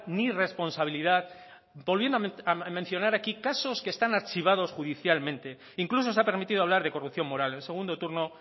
ni responsabilidad volviendo a mencionar aquí casos que están archivados judicialmente incluso se ha permitido hablar de corrupción moral en el segundo turno